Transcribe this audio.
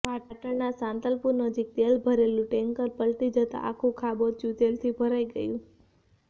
પાટણના સાંતલપુર નજીક તેલ ભરેલું ટેન્કર પલટી જતા આખુ ખાબોચીયુ તેલથી ભરાઈ ગયું